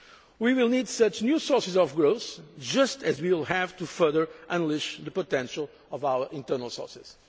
We will need such new sources of growth just as we will have to further unleash the potential of our internal sources.